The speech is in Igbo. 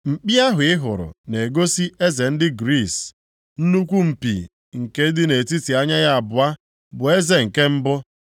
Mkpi ahụ ị hụrụ na-egosi eze ndị Griis, nnukwu mpi nke dị nʼetiti anya ya abụọ bụ eze nke mbụ.